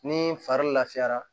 Ni fari lafiyara